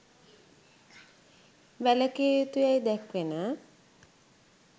වැළැකිය යුතු යැයි දැක්වෙන